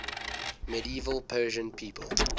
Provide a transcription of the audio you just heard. medieval persian people